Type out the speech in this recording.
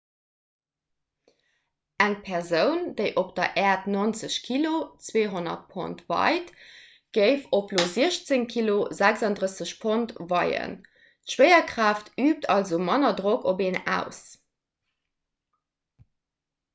eng persoun déi op der äerd 90 kg 200 pond weit géif op io 16 kg 36 pond weien. d'schwéierkraaft üübt also manner drock op een aus